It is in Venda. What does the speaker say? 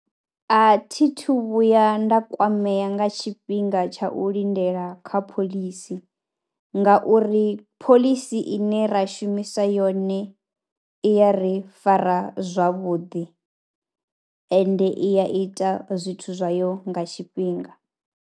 A thithu vhuya nda kwamea nga tshifhinga tsha u lindela kha phoḽisi ngauri phoḽisi ine ra shumisa yone i ya ri fara zwavhuḓi ende i ya ita zwithu zwayo nga tshifhinga.